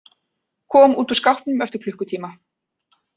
Kom út úr skápnum eftir klukkutíma